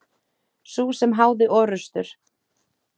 Sú sem háði orrustur.